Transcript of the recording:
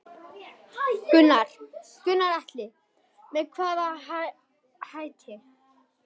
Gunnar Atli: Með hvaða hætti?